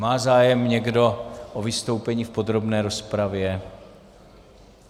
Má zájem někdo o vystoupení v podrobné rozpravě?